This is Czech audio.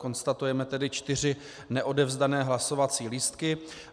Konstatujeme tedy čtyři neodevzdané hlasovací lístky.